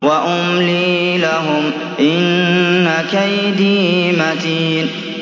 وَأُمْلِي لَهُمْ ۚ إِنَّ كَيْدِي مَتِينٌ